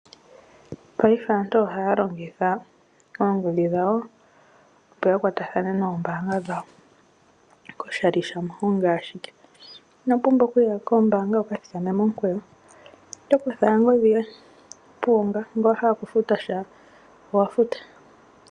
Paife aantu ohaya longitha oongodhi dhawo opo ya kwatathane noombanga dhawo koshali shamuhongi ashike inopumbwa okuya kombaanga wu ka thikame momikweyo oto kutha owala ongodhi yoye ngele owa hala okufuta sha.